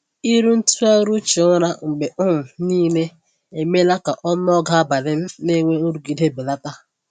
Ịrụ ntụgharị uche ụra mgbe um niile emeela ka ọnụọgụ abalị m na-enwe nrụgide belata.